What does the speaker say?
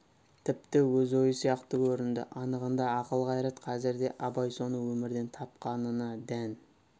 тіпті өз ойы сияқты көрінді анығында ақыл қайрат қазірде абай соны өмірден тапқанына да дән